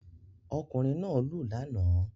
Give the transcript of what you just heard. Ọkùnrin náà lù lánàá